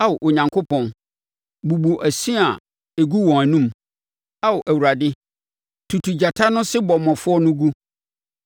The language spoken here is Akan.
Ao Onyankopɔn, bubu ɛse a ɛgu wɔn anom, Ao Awurade, tutu agyata no sebɔmmɔfoɔ no gu!